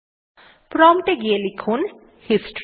prompt এ গিয়ে লিখুন হিস্টরি